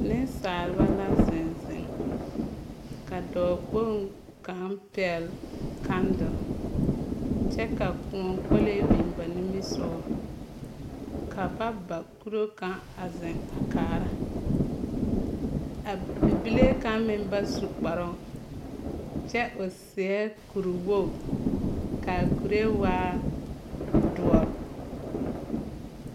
Nensaalba la zeŋ zeŋ, ka dɔɔkpoŋ kaŋ pɛgle kandel, kyɛ ka kõɔ kolee biŋ ba nimisogɔ, ka ba kuro kaŋ a zeŋ a kaara, a bibile kaŋ meŋ ba su kparoŋ, kyɛ o seɛ kuriwog, kaa kuree waa doɔre.